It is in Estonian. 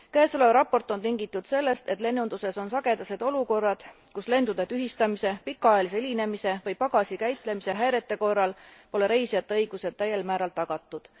Käesolev raport on tingitud sellest, et lennunduses on sagedased olukorrad, kus lendude tühistamise, pikaajalise hilinemise või pagasi käitlemise häirete korral pole reisijate õigused täiel määral tagatud.